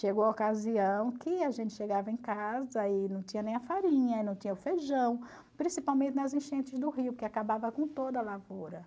Chegou a ocasião que a gente chegava em casa e não tinha nem a farinha, não tinha o feijão, principalmente nas enchentes do rio, que acabava com toda a lavoura.